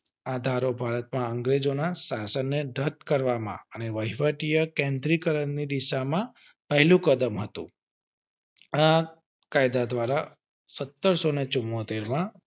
આઝાદો ભારત માં અંગ્રેજો ના શાસન ને રદ કરવામાં અને વહીવટી કેન્દ્રની દિશા માં પહેલું કદમ હતું આ કાયદા દ્વારા સત્તરસો ને ચુંમોતેર માં